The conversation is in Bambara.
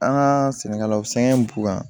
An ka sɛnɛkɛlaw la sɛgɛn b'u kan